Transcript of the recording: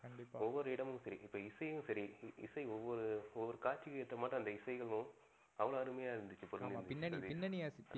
ஒவ்வொரு இடமும் சரி. இப்ப இசையும் சரி. இசை ஒவ்வொரு ஒவ்வொரு காட்சிக்கு ஏத்த மாட்டு அந்த இசைகளும் அவ்ளோ அருமையா இருந்துச்சு. ஆமா பின்னணி பின்னணி